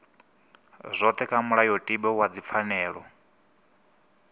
dzothe kha mulayotibe wa dzipfanelo